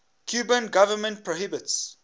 cuban government prohibits